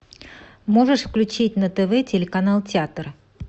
можешь включить на тв телеканал театр